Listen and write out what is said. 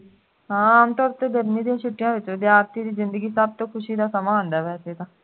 ਹਾਂ ਆਮ ਤੌਰ ਤੇ ਗਰਮੀ ਦੀ ਛੁਟੀਈਆਂ ਦੇ ਵਿੱਚ ਵਿਦਿਆਰਥੀ ਦੀ ਜ਼ਿੰਦਗੀ ਦੇ ਵਿੱਚ ਸਭ ਤੋ ਖੁਸ਼ੀ ਦਾ ਸਮਾਂ ਹੁੰਦਾ ਹੈ ਵੈਸੇ ਤਾਂ